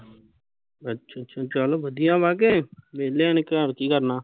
ਅੱਛਾ ਅੱਛਾ ਚੱਲ ਵਧੀਆ ਵਾਂ ਕਿ ਵੇਹਲਿਆ ਨੇ ਘਰ ਕੀ ਕਰਨਾ